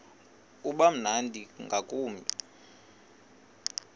uba mnandi ngakumbi